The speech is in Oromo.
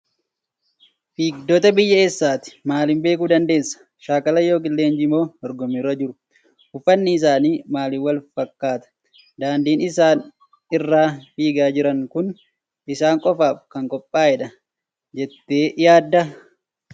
Fiigdota biyya eessaati? Maaliin beekuu dandeesse? Shaakala yookiin leenjii moo dorgommii irra jiru? Uffatni isaanii maaliif wal fakkaata? Daandiin isaan irra fiigaa jiran kun isaan qofaaf kan qophaa'e dha jettee yaaddaa?